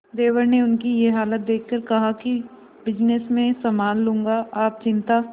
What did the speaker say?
देवर ने उनकी ये हालत देखकर कहा कि बिजनेस मैं संभाल लूंगा आप चिंता